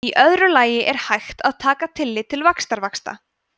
í öðru lagi er hægt að taka tillit til vaxtavaxta